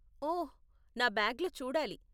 ఓహ్, నా బ్యాగ్లో చూడాలి.